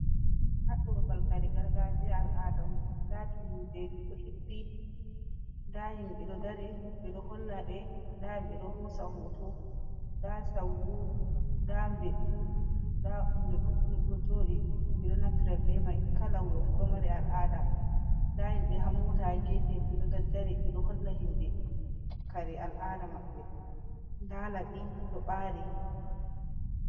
Haɗɗo babal kare gargajiya al'ada on, ndaa tummudeeji ɗo hippi, ndaa himɓe ɗo dari ɓe ɗo holla ɓe, ndaa himɓe ɗo hoosa hooto, ndaa sawru, ndaa mbeɗu, ndaa hunde ɗuɗɗum ɗo jooɗi, ɓe ɗo naftira be may. Kala wuro fu ɗo mari al'aada, ndaa himɓe haa moota haa geefe, ɗo daddari, ɓe ɗo holla himɓe kare al'aada maɓɓe, ndaa laɓi ɗo ɓaari.